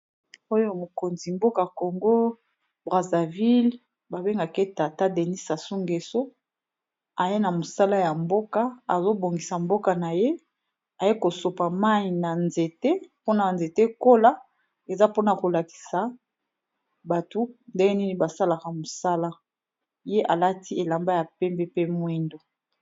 Oyo mikonzi ya mboka ya congo Brazzaville Ezra sasugweso Azo sopa mayi likolo ya nzete